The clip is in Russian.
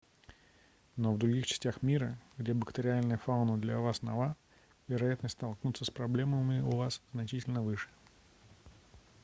но в других частях мира где бактериальная фауна для вас нова вероятность столкнуться с проблемами у вас значительно выше